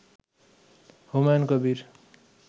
Humayun Kabir